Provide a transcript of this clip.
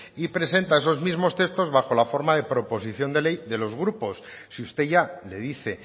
y presenta esos mismos textos bajo la forma de proposición de ley de los grupos si usted ya le dice